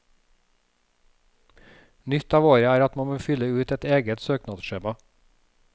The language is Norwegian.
Nytt av året er at man må fylle ut et eget søknadsskjema.